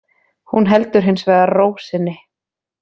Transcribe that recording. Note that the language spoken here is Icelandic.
Hún heldur hins vegar ró sinni